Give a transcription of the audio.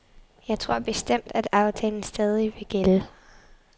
Jeg tror bestemt, at aftalen stadig vil gælde.